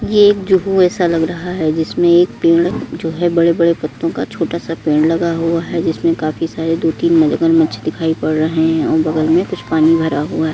ये एक ज़ूहु ऐसा लग रहा है जिसमें एक पेड़ जो है बड़े-बड़े पत्तों का छोटा- सा पेड़ लगा हुआ है। जिसमें काफी सारे दो तीन मगरमच्छ दिखाई पड़ रहे हैं और बगल में कुछ पानी भरा हुआ --